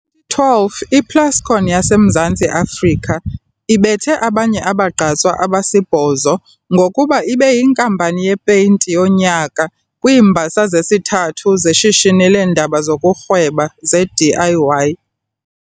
Ngo-2012 iPlascon yaseMzantsi Afrika ibethe abanye abagqatswa abasibhozo ngokuba ibeyiNkampani yePeyinti yoNyaka kwiiMbasa zezithathu zeShishini leeNdaba zokuRhweba zeDIY.